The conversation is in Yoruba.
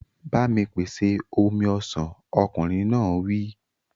Ba mi pèsè omi ọsàn! Ọkùnrin náà wí.